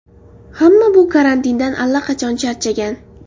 Hamma bu karantindan allaqachon charchagan.